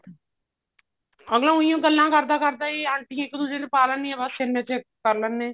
ਕਿਉਂਕਿ ਉਈ ਗੱਲਾਂ ਕਰਦਾ ਕਰਦਾ ਆਂਟੀ ਇੱਕ ਦੂਜੇ ਨੂੰ ਪਾ ਲੈਣੀ ਬਸ ਇੰਨੇ ਚ ਇੱਕ ਦੂਜੇ ਨੂੰ ਕਰ ਲੈਂਦੇ